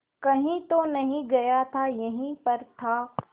कहीं तो नहीं गया था यहीं पर था